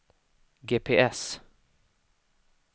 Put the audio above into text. GPS